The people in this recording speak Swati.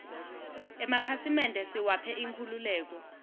emakhasimende siwaphe inkhululeko